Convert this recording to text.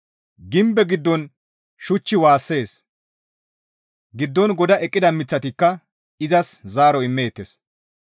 Gimbe giddon shuchchi waassees; giddon goda eqqida miththatikka izas zaaro immeettes.